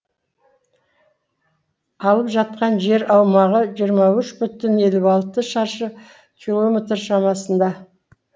алып жатқан жер аумағы жиырма үш бүтін елу алты шаршы километр шамасында